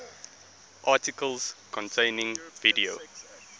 articles containing video